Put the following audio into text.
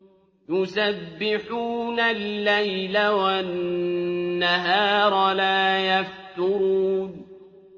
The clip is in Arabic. يُسَبِّحُونَ اللَّيْلَ وَالنَّهَارَ لَا يَفْتُرُونَ